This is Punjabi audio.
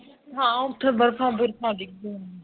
ਹਾਂ ਉੱਤੇ ਬਰਫ਼ ਬਰਫ਼ਾਂ ਡਿਗਰੀਆਂ ਹੈ